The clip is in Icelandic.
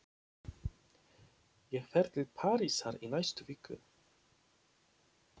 Ég fer til Parísar í næstu viku.